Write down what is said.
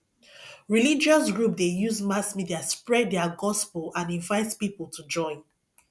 religious group de use mass media spread their gospel and invite pipo to join